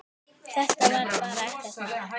Þetta var bara ekkert mál.